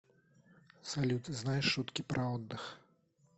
салют знаешь шутки про отдых